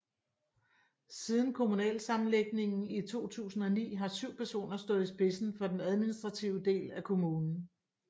Siden kommunalsammenlægningen i 2009 har 7 personer stået i spidsen for den administrative del af kommunen